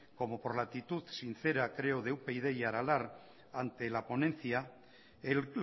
como por la actitud sincera creo de upyd y aralar ante la ponencia el